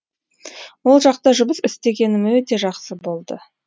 ол жақта жұмыс істегенім өте жақсы болды